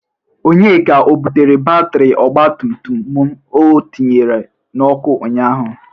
Onyeka, o bụtere batịrị ọgbatumtum mụ o tinyere n'ọkụ ụnyaahụ?